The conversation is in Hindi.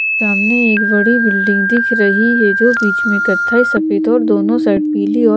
सामने एक बड़ी बिल्डिंग दिख रही है जो बीच में कथई सफेद और दोनों साइड पीली और--